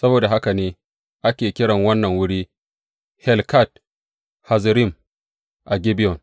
Saboda haka ne ake kiran wannan wuri Helkat Hazzurim a Gibeyon.